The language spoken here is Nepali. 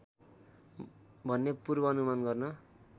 भन्ने पूर्वानुमान गर्न